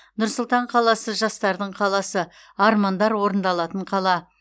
нұр сұлтан қаласы жастардың қаласы армандар орындалатын қала